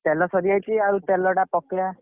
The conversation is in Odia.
ତେଲ ସାରିଯାଇଛି ତେଲ ଟା ପକେଇବା।